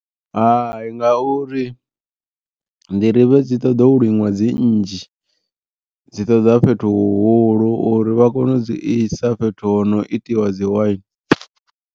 Hai ngauri nḓirivhe dzi ṱoḓa u liṅwa dzi nnzhi, dzi ṱoḓa fhethu huhulu uri vha kone u dzi isa fhethu ho no itiwa dzi waini.